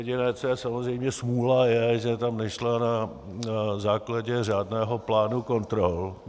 Jediné, co je samozřejmě smůla, je, že tam nešla na základě řádného plánu kontrol.